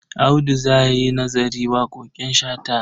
Audu za yi nazarin waƙoƙin Shata.